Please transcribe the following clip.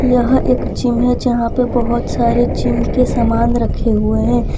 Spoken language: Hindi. यह एक जिम है यहां पे बहुत सारे जिम के सामान रखे हुए हैं।